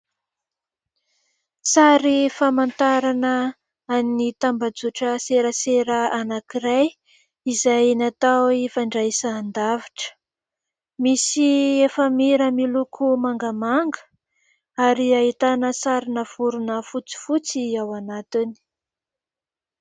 Sary famantarana an'ny tambazotra serasera anankiray izay natao fandraisan-davitra misy efamira miloko mangamanga ary ahitana sarina vorona fotsifotsy ao anatiny.